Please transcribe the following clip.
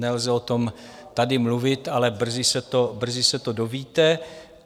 Nelze o tom tady mluvit, ale brzy se to dovíte.